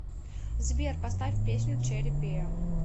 сбер поставь песню черри пай